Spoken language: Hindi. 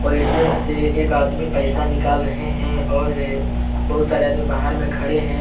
और ए_टी_एम_ से एक आदमी पैसा निकाल रहे हैं और बहुत सारे आदमी बाहर में खड़े हैं।